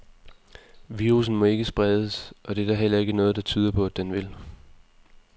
Virussen må ikke spredes, og det er der heller ikke noget, der tyder på, at den vil.